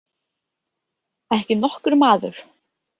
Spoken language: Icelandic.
Ekki nokkur maður.